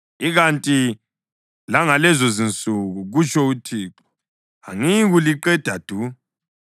Ikanti langalezozinsuku,” kutsho uThixo, “angiyikuliqeda du.